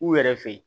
U yɛrɛ fɛ yen